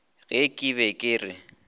ge ke be ke re